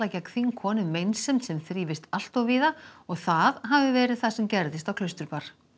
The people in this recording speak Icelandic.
gegn þingkonum meinsemd sem þrífist allt of víða og það hafi verið það sem gerðist á Klausturbar